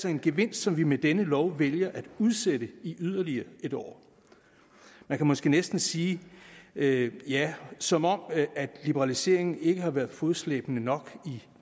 en gevinst som vi med denne lov vælger at udsætte i yderligere en år man kan måske næsten sige ja ja som om liberaliseringen ikke har været fodslæbende nok i